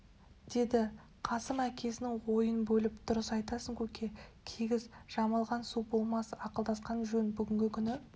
деді қасым әкесінің ойын бөліп дұрыс айтасың көке кигіз жамылған су болмас ақылдасқан жөн бүгінгі күні